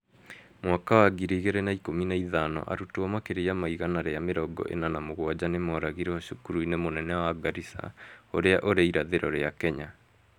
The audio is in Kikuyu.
Mwaka wa ngiri igĩrĩ na ikũmi na ithano, arutwo makĩria ma igana rĩa mĩrongo ĩna na mũgwanja nĩmoragirwo cukuru-inĩ mũnene wa Garissa urĩa urĩ irathĩro rĩa Kenya